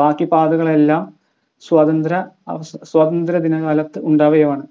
ബാക്കി പാതകളെല്ലാം സ്വാതന്ത്ര്യ അവ സ്വാതന്ത്ര്യ ദിനകാലത്ത് ഉണ്ടായവയാണ്